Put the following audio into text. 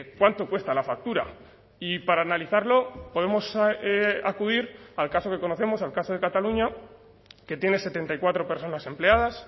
cuánto cuesta la factura y para analizarlo podemos acudir al caso que conocemos al caso de cataluña que tiene setenta y cuatro personas empleadas